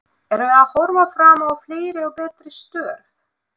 Erum við að horfa fram á fleiri og betri störf?